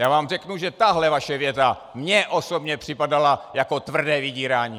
Já vám řeknu, že tahle vaše věta mně osobně připadala jako tvrdé vydírání.